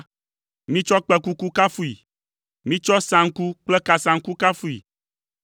Mitsɔ kpẽkuku kafui. Mitsɔ saŋku kple kasaŋku kafui.